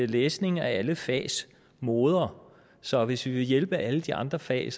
læsning er alle fags moder så hvis vi vil hjælpe alle de andre fag